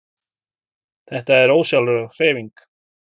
Þetta er ósjálfráð hreyfing.